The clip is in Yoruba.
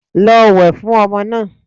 Lọ wẹ̀ fún ọmọ náà.